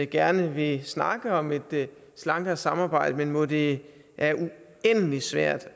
gerne vil snakke om et slankere samarbejde men hvor det er uendelig svært